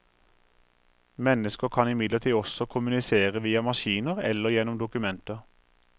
Mennesker kan imidlertid også kommunisere via maskiner eller gjennom dokumenter.